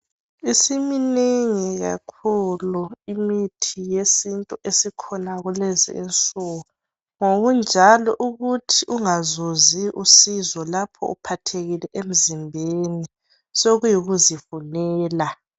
isiminegi kakhulu imithi yesintu esikhona kulezi insuku ngokunjalo ukuthi ungazuzi usizo lapho uphathekile emzimbeni sokuyikuzi funela